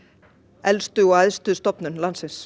elstu og æðstu stofnun landsins